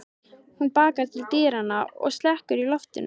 Hún bakkar til dyranna og slekkur í loftinu.